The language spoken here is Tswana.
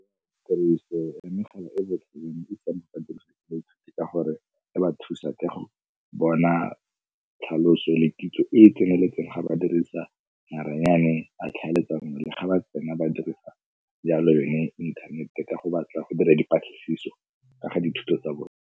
Tiriso ya megala e ka gore e ba thusa ka go bona tlhaloso le kitso e e tseneletseng ga ba dirisa maranyane a tlhaeletsano le ga ba tsena ba dirisa jalo yone inthanete ka go batla go dira dipatlisiso ka ga dithuto tsa bona.